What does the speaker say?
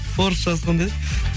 орысшасы қандай еді